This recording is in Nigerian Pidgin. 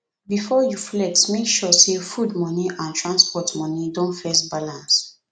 before you flex make sure say food money and transport money don first balance